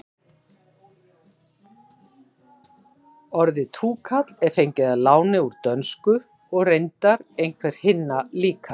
orðið túkall er fengið að láni úr dönsku og reyndar einhver hinna líka